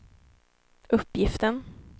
uppgiften